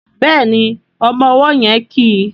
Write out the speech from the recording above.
Béèni ọmọ ọwó yén kí.